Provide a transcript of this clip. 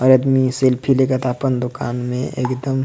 और अदमी सेल्फी लेकत आपन दुकान में एकदम --